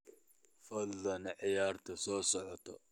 fadlan ciyaarta soo socota